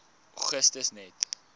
augustus net